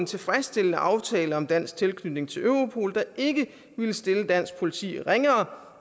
tilfredsstillende aftale om dansk tilknytning til europol der ikke ville stille dansk politi ringere